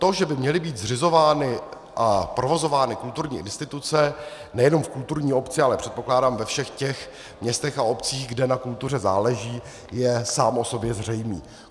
To, že by měly být zřizovány a provozovány kulturní instituce nejenom v kulturní obci, ale předpokládám, ve všech těch městech a obcích, kde na kultuře záleží, je samo o sobě zřejmé.